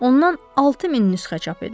Ondan 6000 nüsxə çap edin.